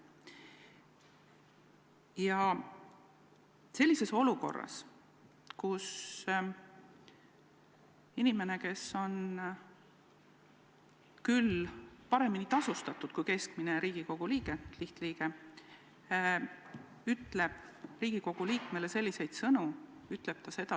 Ja sellises olukorras ütleb inimene, kes on ka paremini tasustatud kui Riigikogu lihtliige, Riigikogu liikmetele selliseid sõnu!